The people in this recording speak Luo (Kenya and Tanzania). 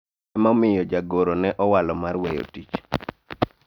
ema omiyo jagoro ne owalo mar weyo tich